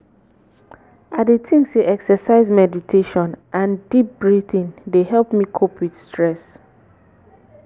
i dey think say exercise meditation and deep breathing dey help me cope with stress.